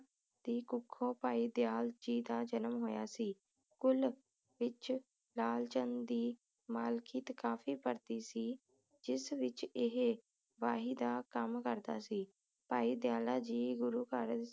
ਦੀ ਕੁੱਖੋਂ ਭਾਈ ਦਯਾਲ ਜੀ ਦਾ ਜਨਮ ਹੋਇਆ ਸੀ ਕੁਲ ਵਿਚ ਲਾਲ ਚੰਦ ਦੀ ਮਾਲਕੀਅਤ ਕਾਫੀ ਵੱਡੀ ਸੀ ਜਿਸ ਵਿਚ ਇਹ ਸਿਪਾਹੀ ਦਾ ਕੰਮ ਕਰਦਾ ਸੀ ਭਾਈ ਦਯਾਲਾ ਜੀ ਗੁਰੂ ਘਰ